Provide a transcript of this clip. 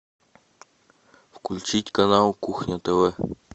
включить канал кухня тв